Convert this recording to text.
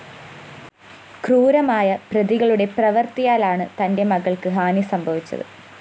ക്രൂരമായ പ്രതികളുടെ പ്രവര്‍ത്തിയാലാണ് തന്റെ മകള്‍ക്ക് ഹാനി സംഭവിച്ചത്